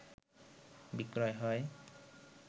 বিক্রয় হয়